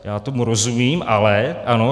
Já tomu rozumím, ale ano...